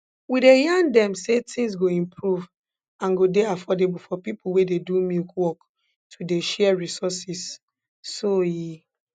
we dey yarn dem say tins go improve and go dey affordable for pipo wey dey do milk work to dey share resources so e